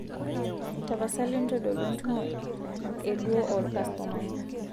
tapasali ntodolu entumo e duo olkastomani